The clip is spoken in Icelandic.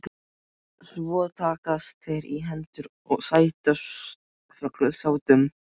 Svo takast þeir í hendur og sættast fullum sáttum.